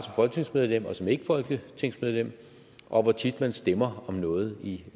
folketingsmedlem og som ikkefolketingsmedlem og hvor tit man stemmer om noget